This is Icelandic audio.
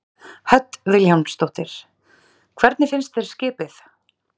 Hödd Vilhjálmsdóttir: Hvernig finnst þér skipið?